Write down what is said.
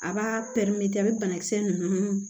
A b'a a bɛ banakisɛ ninnu